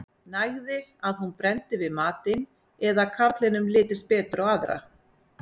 nægði að hún brenndi við matinn eða að karlinum litist betur á aðra